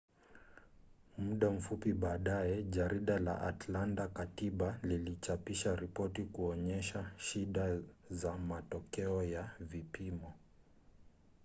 muda mfupi baadaye jarida la atlanta-katiba lilichapisha ripoti kuonyesha shida za matokeo ya vipimo